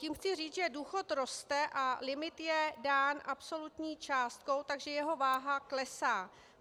Tím chci říct, že důchod roste a limit je dán absolutní částkou, takže jeho váha klesá.